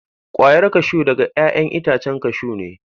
Kwayar kashu daga 'ya'yan itacen kashu ne.